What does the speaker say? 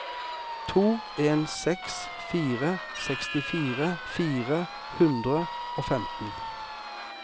to en seks fire sekstifire fire hundre og femten